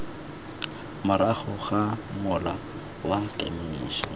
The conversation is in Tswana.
morago ga mola wa kemiso